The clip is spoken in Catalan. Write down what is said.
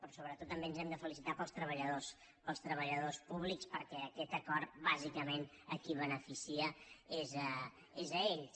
però sobretot també ens hem de felicitar pels treballadors pels treballadors públics perquè aquest acord bàsicament a qui beneficia és a ells